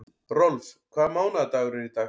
Rolf, hvaða mánaðardagur er í dag?